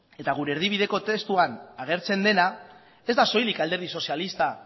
eta gure erdibideko testuan agertzen dena ez da soilik alderdi sozialistak